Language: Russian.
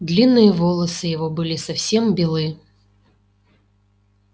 длинные волосы его были совсем белы